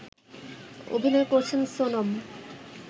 অভিনয় করছেন সোনম